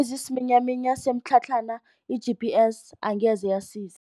Ezisiminyaminya semitlhatlhana i-GPS angeze yasiza.